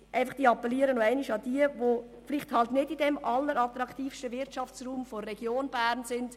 Ich appelliere nochmals an diejenigen, die sich vielleicht nicht im allerattraktivsten Wirtschaftsraum der Region Bern befinden.